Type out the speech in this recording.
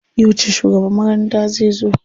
Yauce shugaban makarantar zai zo?